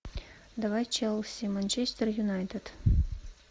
давай челси манчестер юнайтед